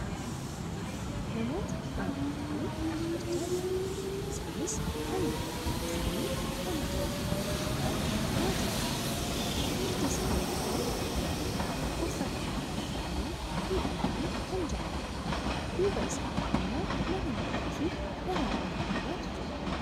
namoota baayyatanii dhaabbachaa jiranidha. Isaanis namoota baayyinni isaanii nama torba ta'e yoo ta'an maatii tokkodha. cufti isaanii iyyuu ammoo uffata aadaa uffatanii miidhaganii kan jiranidha. duuba isaanii ammoo mana guddaafi daraaraa miidhagaatu jira.